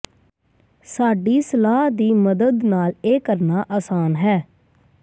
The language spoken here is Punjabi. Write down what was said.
ਸਾਡੀ ਸਲਾਹ ਦੀ ਮਦਦ ਨਾਲ ਇਹ ਕਰਨਾ ਆਸਾਨ ਹੈ